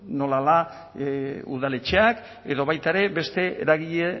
nola da udaletxeak edo baita ere beste eragile